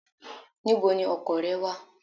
Where is your car?